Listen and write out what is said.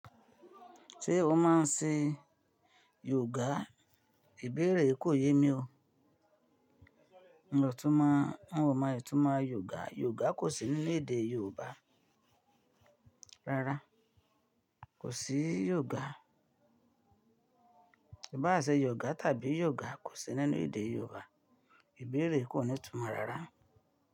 Ṣé o máa ń ṣe yoga? Ìbéèrè yí kò yé mi o. N ò túmọ̀, n ò mọ ìtumọ̀ yoga. Yoga kò sí nínú èdè Yorùbá. Rárá, kò sí yoga ìbáà ṣe yògá tàbí yògá, kò sí nínú èdè Yorùbá. Ìbéèrè yí kò nítumọ̀ rárá.